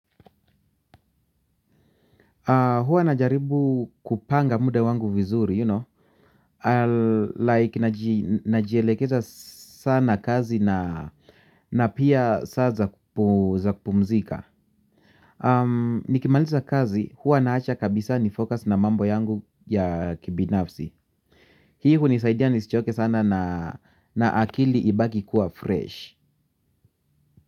Huwa najaribu kupanga muda wangu vizuri, you know, like, najielekeza sana kazi na pia saa za kupumzika. Nikimaliza kazi huwa naacha kabisa nifocus na mambo yangu ya kibinafsi. Hii hunisaidia nisichoke sana na akili ibaki kuwa fresh.